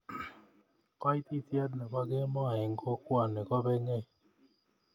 koititye nebo kemoi en kokwoni kobenyei